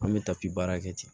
An bɛ tabi baara kɛ ten